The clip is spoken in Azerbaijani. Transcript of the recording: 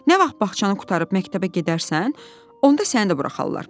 Nə vaxt bağçanı qurtarıb məktəbə gedərsən, onda səni də buraxarlar.